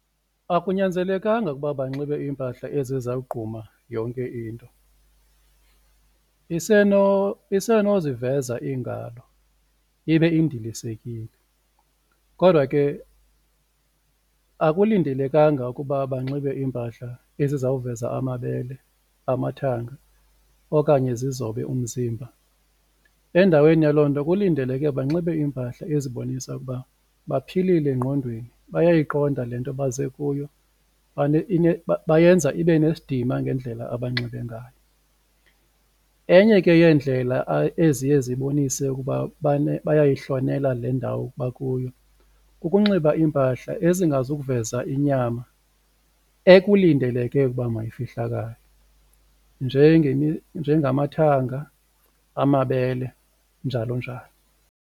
Akunyanzelekanga ukuba banxibe iimpahla ezizawugquma yonke into isenoziveza iingalo ibe indilisekile kodwa ke akulindelekanga ukuba banxibe iimpahla ezizawuveza amabele, amathanga okanye zizobe umzimba. Endaweni yaloo nto kulindeleke banxibe iimpahla ezibonisa ukuba baphilile engqondweni, bayayiqonda le nto baze kuyo bayenza ibe nesidima ngendlela abanxibe ngayo. Enye ke yeendlela eziye zibonise ukuba bayayihlonela le ndawo bakuyo kukunxiba iimpahla ezingazukuveza inyama ekulindeleke ukuba mayifihlakale njengamathanga, amabele njalo njalo.